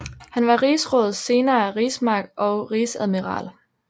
Han var Rigsråd senere Rigsmarsk og Rigsadmiral